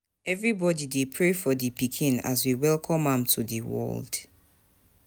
Everybody dey pray for di pikin as we welcome am to the world.